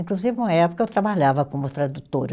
Inclusive, uma época, eu trabalhava como tradutora.